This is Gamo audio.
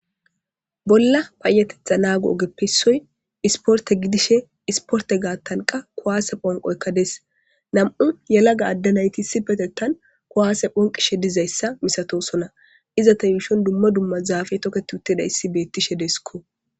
Bolla paayatetha naago7o ogeppe issoy isporte gidishe isporte gaattan qa kowaase phonqoykka des nam7u yelaga adde nayti issi petettan kuwaase phonqishe dizayssa misatosona izata yuushon dumma dumma zaafe toketiuttedayissi bettishe deesikko.